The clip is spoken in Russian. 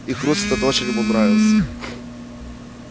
и хруст этот очень ему нравился